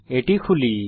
এটি খুলি